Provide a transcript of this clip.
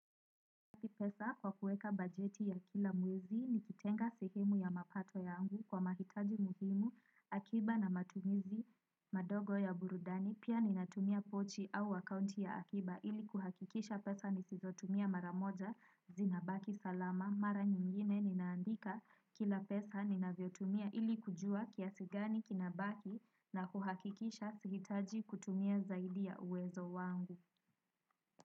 Pesa kwa kuweka bajeti ya kila mwezi ni kitenga sehemu ya mapato yangu kwa mahitaji muhimu akiba na matumizi madogo ya burudani. Pia ninatumia pochi au akaunti ya akiba ili kuhakikisha pesa nisizotumia mara moja zinabaki salama. Mara nyingine ninaandika kila pesa ninavyo tumia ili kujua kiasi gani kinabaki na kuhakikisha sihitaji kutumia zaidi ya uwezo wangu.